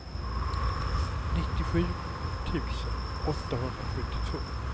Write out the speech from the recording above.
nittiosju tusen åttahundrasjuttiotvå